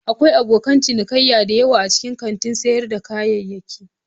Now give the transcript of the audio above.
Akwai abokan ciniki da yawa a cikin kantin sayar da kayayyaki.